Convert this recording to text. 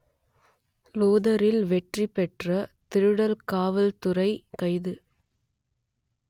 லோதரில் வெற்றி பெற்ற திருடர் காவல்துறை கைது